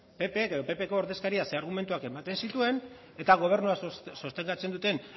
ppko ordezkariak ze argumentu ematen zituen eta gobernua sostengatzen duten